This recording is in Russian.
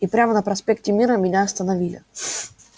и прямо на проспекте мира меня остановили